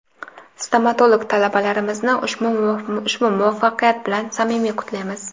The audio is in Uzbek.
Stomatolog talabalarimizni ushbu muvaffaqiyat bilan samimiy qutlaymiz!.